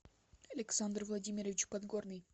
александр владимирович подгорный